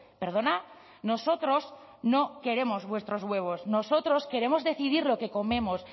perdona nosotros no queremos vuestros huevos nosotros queremos decidir lo que comemos